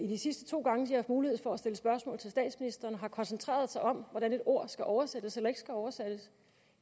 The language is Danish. de sidste to gange de haft mulighed for at stille spørgsmål til statsministeren har koncentreret sig om hvordan et ord skal oversættes eller ikke skal oversættes